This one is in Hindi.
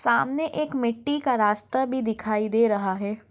सामने एक मिट्ठी का रास्ता भी दिखाई दे रहा है।